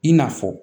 I n'a fɔ